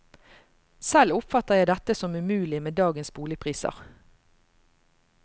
Selv oppfatter jeg dette som umulig med dagens boligpriser.